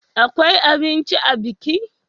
Akwai abinci a biki?